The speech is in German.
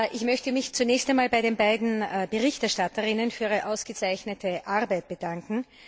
Ich möchte mich zunächst einmal bei den beiden Berichterstatterinnen für ihre ausgezeichnete Arbeit bedanken.